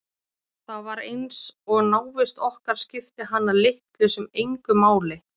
Það var eins og návist okkar skipti hana litlu sem engu máli.